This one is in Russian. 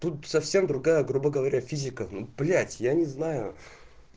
тут совсем другая грубо говоря физика ну блять я не знаю